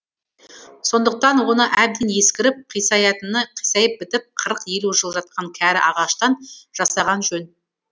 сондықтан оны әбден ескіріп қисаятыны қисайып бітіп қырық елу жыл жатқан кәрі ағаштан жасаған жөн